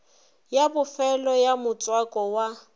ya bofelo ya motswako wa